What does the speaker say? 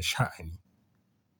sha, ani.